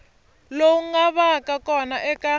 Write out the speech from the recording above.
lowu nga vaka kona eka